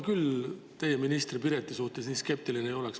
Ma küll teie ministri Pireti suhtes nii skeptiline ei ole.